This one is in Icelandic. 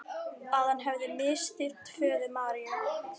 Að hann hefði misþyrmt föður Maríu.